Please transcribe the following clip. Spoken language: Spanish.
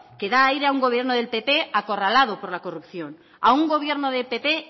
que da aire a un gobierno del pp acorralado por la corrupción a un gobierno del pp